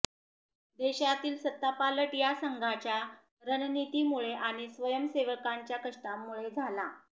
देशातील सत्तापालट हा संघाच्या रणनीतीमुळे आणि स्वयंसेवकांच्या कष्टामुळे झाला